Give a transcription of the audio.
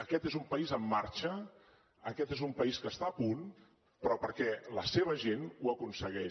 aquest és un país en marxa aquest és un país que està a punt però perquè la seva gent ho aconsegueix